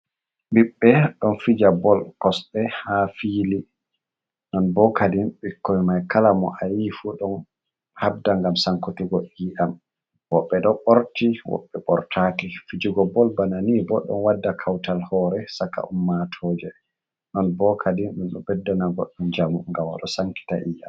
Bibbe don fija bol kosbe ha fili non bo kadin bikko mai kala mo a yii fudon habda gam sankitigo yi’am woɓɓe do borti woɓɓe bortaki fijugo bol bana ni boɗɗon wadda kawtal hore saka ummatoje non bo kadin don do beddana goɗdon jamu gam wodo sankita iyam.